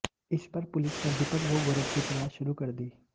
इस पर पुलिस ने दीपक व गौरव की तलाश शुरू कर दी